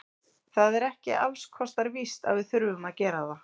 Það er ekki alls kostar víst að við þurfum að gera það.